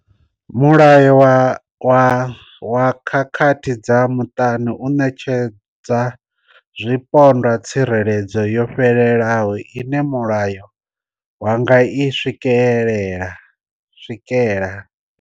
Mulayo wa khakhathi dza muṱani u ṋetshedza zwipondwa tsireledzo yo fhelelaho ine mulayo wa nga i swikela.